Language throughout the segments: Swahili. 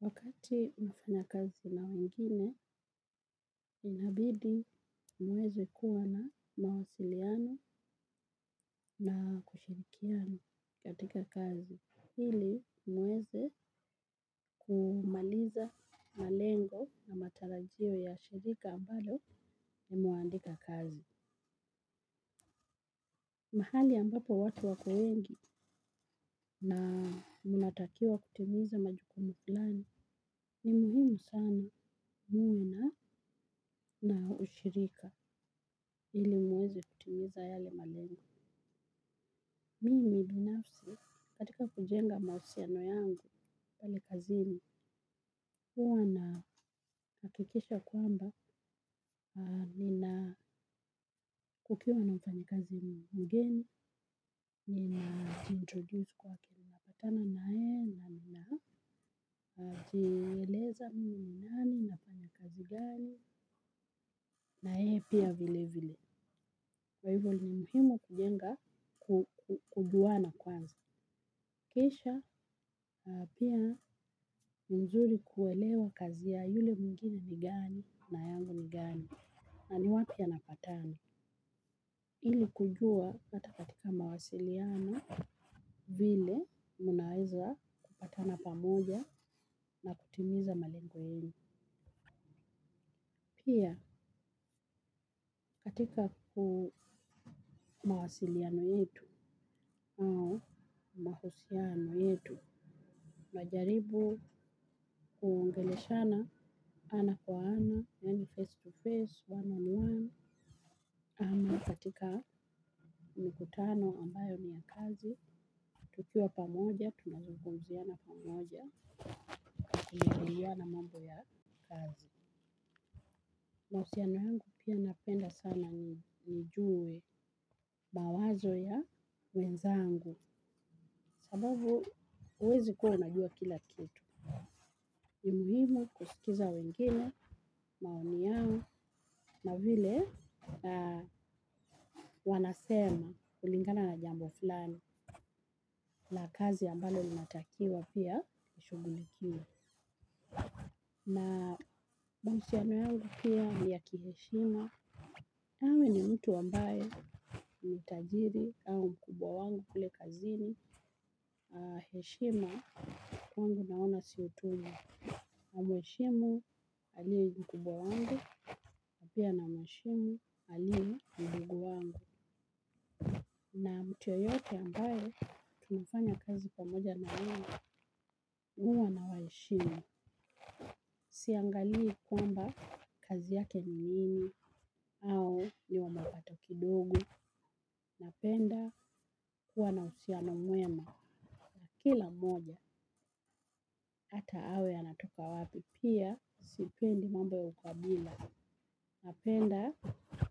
Wakati unafanya kazi na wengine, inabidi muweze kuwa na mawasiliano na kushirikiano katika kazi. Hili muweze kumaliza malengo na matarajio ya shirika ambayo ni muandika kazi. Mahali ambapo watu wako wengi na munatakiwa kutimiza majukumu flani ni muhimu sana muwe na na ushirika. Ili muweze kutimiza yale malengu. Mimi binafsi, katika kujenga mausiano yangu, pale kazini, huwa naakikisha kwamba, nina kukiwa na mpanyekazi mgeni, nina introduce kwa kilimbatana na e, na nina jieleza nani, na fanya kazi gani, na yeye pia vile vile. Waivo ni muhimu kujenga, kujuana kwazi. Kisha pia mzuri kuelewa kazi ya yule mwingine ni gani na yangu ni gani na ni wapi yanapatana. Hili kujua hata katika mawasiliano vile munaweza kupatana pamoja na kutimiza malingo yenu. Pia katika mawasiliano yetu mahusiano yetu najaribu kuongeleshana ana kwa ana, yani face to face, wano ni wano, ama katika mkutano ambayo ni ya kazi, tukiwa pamoja, tunazugunziana pamoja, kumigiliwa na mambo ya kazi. Mawasiliano yangu pia napenda sana nijue mawazo ya wenzangu sababu uwezi kuwa unajua kila kitu. Imuhimu kusikiza wengine, maini yao na vile wanasema ulingana na jambo filani na kazi ambale unatakiwa pia nishugulikia. Na mahusiano yangu pia ni ya kiheshima. Hawe ni mtu ambaye ni tajiri au mkubwa wangu kule kazi ni. Heshima kwangu naona si utumwa. Na mweshimu alie mkubwa wangu. Na pia na mweshimu alie mdogo wangu. Na mtu yoyote ambaye tunafanya kazi pamoja na wangu. Hua na waeshimi. Siangalii kwamba kazi yake nini au ni wamapato kidogo. Napenda kuwa na uhusiano mwema. Kila moja ata awe anatoka wapi pia sipendi mambo ya ukwabila. Napenda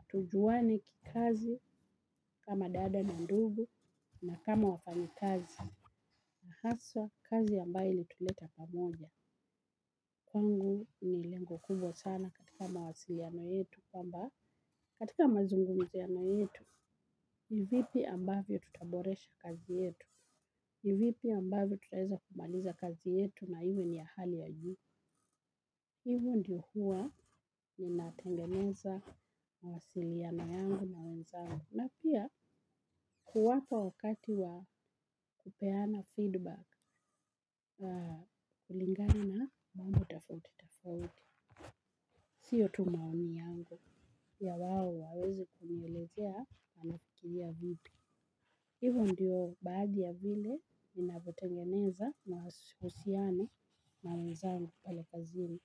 tujuwane kikazi kama dada na ndugu na kama wafanyi kazi. Na haswa kazi ambayo ili tuleta pamoja. Kwangu ni lengo kubwa sana katika mawasiliano yetu kwamba katika mazungumziano yetu, ni vipi ambavyo tutaboresha kazi yetu, ni vipi ambavyo tutaeza kumaliza kazi yetu na hiwe ni ahali ya juu. Hivo ndiyo huwa ni natengeneza mawasiliano yangu na wenzangu. Na pia kuwapa wakati wa kupeana feedback, kilingani na mambo tafauti tafauti. Siyo tu maoni yangu ya wawo waweze kunielezea nafikiria vipi. Hivyo ndiyo baadhi ya vile minabotengeneza na usiyane na mzangu pale kazini.